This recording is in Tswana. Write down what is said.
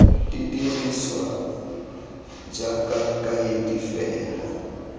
di dirisiwa jaaka kaedi fela